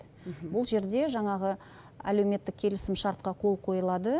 бұл жерде жаңағы әлеуметтік келісімшартқа қол қойылады